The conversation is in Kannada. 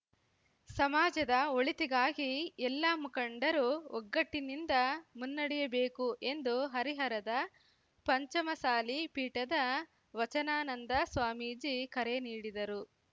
ಸಮಾಜದ ಒಳಿತಿಗಾಗಿ ಎಲ್ಲಾ ಮುಖಂಡರು ಒಗ್ಗಟ್ಟಿನಿಂದ ಮುನ್ನಡೆಯಬೇಕು ಎಂದು ಹರಿಹರದ ಪಂಚಮಸಾಲಿ ಪೀಠದ ವಚನಾನಂದ ಸ್ವಾಮೀಜಿ ಕರೆ ನೀಡಿದರು